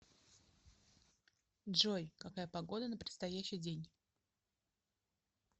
джой какая погода на предстоящий день